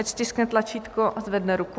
Ať stiskne tlačítko a zvedne ruku.